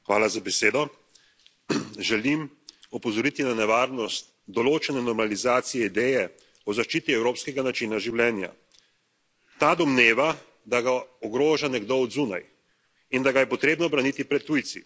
Gospod predsednik, želim opozoriti na nevarnost določene normalizacije ideje o zaščiti evropskega načina življenja. Ta domneva, da ga ogroža nekdo od zunaj in da ga je potrebno braniti pred tujci.